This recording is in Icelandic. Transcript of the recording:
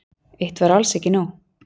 Eitt var alls ekki nóg.